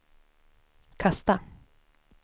kasta